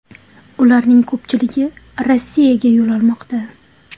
Ularning ko‘pchiligi Rossiyaga yo‘l olmoqda.